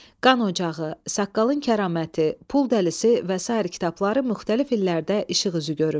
"Qan ocağı", "Saqqalın kəraməti", "Pul dəlisi" və sair kitabları müxtəlif illərdə işıq üzü görüb.